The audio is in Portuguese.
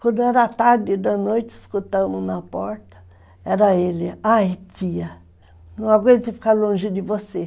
Quando era tarde da noite, escutamos na porta, era ele, ai tia, não aguento ficar longe de você.